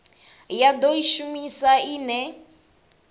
ya do i shumisa ine